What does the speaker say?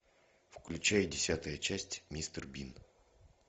включай десятая часть мистер бин